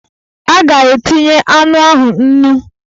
A ga-etinye anụ ahụ nnu?